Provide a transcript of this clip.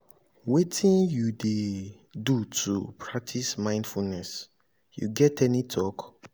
wetin you dey do to practice mindfulness you get any talk?